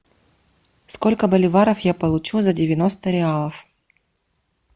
сколько боливаров я получу за девяносто реалов